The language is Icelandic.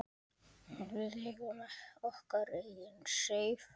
Við eigum okkar eigin Seif.